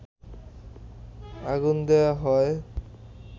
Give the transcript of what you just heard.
আগুন দেয়া হয়